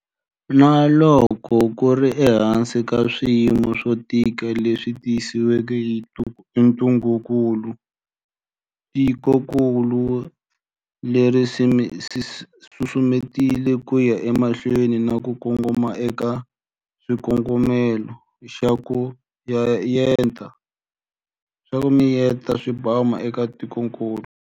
Na loko ku ri ehansi ka swiyimo swo tika leswi tisiweke hi ntungukulu, tikokulu ri susumetile ku ya emahlweni na ku kongoma eka xikongomelo xa 'ku miyeta swibamu' eka tikokulu.